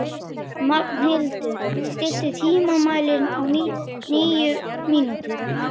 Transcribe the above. Magnhildur, stilltu tímamælinn á níu mínútur.